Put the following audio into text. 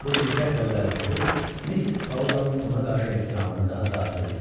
Bu diqqət və qayğısı Missis Audanın ona qarşı ehtiramını daha da artırdı.